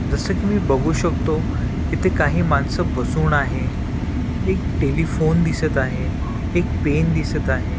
जसं की मी बघू शकतो इथे काही माणसं बसून आहे एक टेलिफोन दिसत आहे एक पेन दिसत आहे.